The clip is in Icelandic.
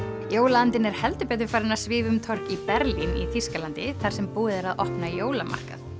jólaandinn er heldur betur farinn að svífa um torg í Berlín í Þýskalandi þar sem búið er að opna jólamarkað